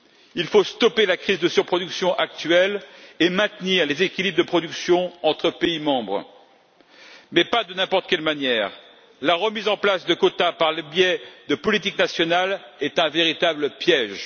Il faut stopper la crise de surproduction actuelle et maintenir les équilibres de production entre les États membres, mais pas de n'importe quelle manière. La remise en place de quotas par le biais de politiques nationales est un véritable piège.